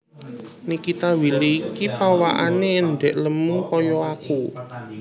Nikita Willy iki pawakane endhek lemu koyok aku